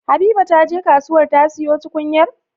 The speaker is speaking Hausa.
Habiba taje kasuwar ta siyo tukunyar?